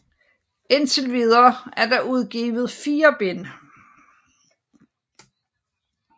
Indtil videre er der udgivet 4 bind